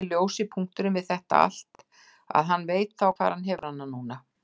Eini ljósi punkturinn við þetta allt að hann veit þá hvar hann hefur hana núna.